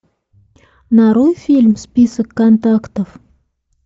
нарой фильм список контактов